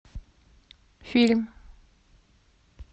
фильм